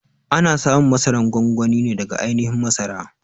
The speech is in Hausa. A na samun masaran gwangwani ne daga ainihin masara.